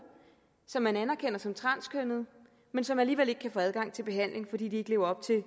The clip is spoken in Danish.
som man anerkender som transkønnede men som alligevel ikke kan få adgang til behandling fordi de ikke lever op til